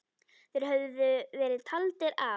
Þeir höfðu verið taldir af.